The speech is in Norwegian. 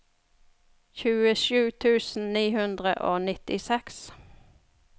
tjuesju tusen ni hundre og nittiseks